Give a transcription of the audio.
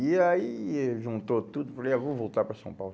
E aí eh juntou tudo e falei, é, vou voltar para São Paulo.